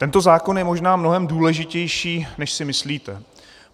Tento zákon je možná mnohem důležitější, než si myslíte.